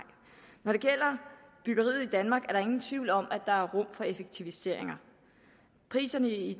når det gælder byggeriet i danmark er der ingen tvivl om at der er rum for effektiviseringer priserne i